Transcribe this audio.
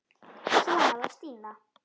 Svona var Stína.